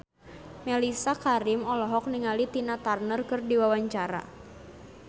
Mellisa Karim olohok ningali Tina Turner keur diwawancara